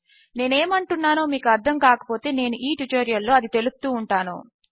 నేను ఏమని అంటున్నానో మీకు అర్ధము కాకపోతే నేను ఈ ట్యుటోరియల్ లో అది తెలుపుతూ ఉంటాను